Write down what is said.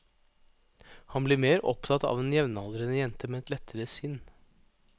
Han blir mer opptatt av en jevnaldrende jente med et lettere sinn.